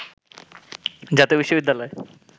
“জাতীয় বিশ্ববিদ্যালয়